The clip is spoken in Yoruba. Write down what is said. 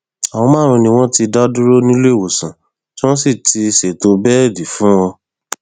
àwọn márùnún ni wọn ti dá dúró níléemọsán tí wọn sì ti ṣètò bẹẹdì fún wọn